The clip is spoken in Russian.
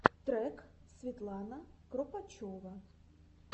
трек светлана кропочева